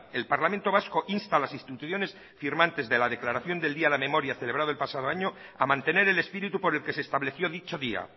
el parlamento vasco insta a las instituciones firmantes de la declaración del día de la memoria celebrado el pasado año a mantener el espíritu por el que se estableció dicho día